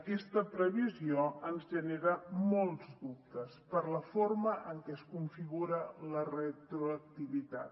aquesta previsió ens genera molts dubtes per la forma en què es configura la retroactivitat